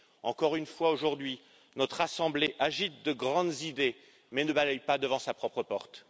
Encore une fois, aujourd'hui, notre assemblée agite de grandes idées, mais ne balaye pas devant sa propre porte.